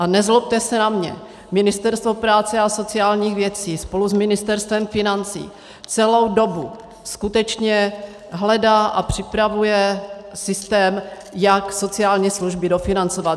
A nezlobte se na mě, Ministerstvo práce a sociálních věcí spolu s Ministerstvem financí celou dobu skutečně hledá a připravuje systém, jak sociální služby dofinancovat.